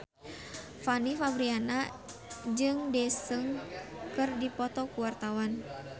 Fanny Fabriana jeung Daesung keur dipoto ku wartawan